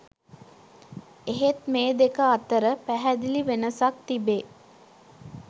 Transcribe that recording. එහෙත් මේ දෙක අතර පැහැදිලි වෙනසක් තිබේ.